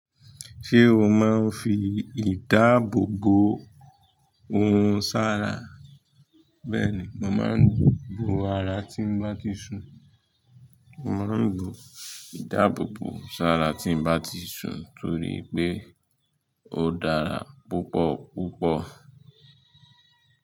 Ṣé o máa ń fi ìdáàbò bò ohun sára? Bẹ́ẹ̀ ni, mo máa ń bò ara tí ń bá ti ṣùn. Mo máa ń lò ìdáàbò bò ohun sára tí ń bá ti ṣùn torí pé ó dára púpọ̀ púpọ̀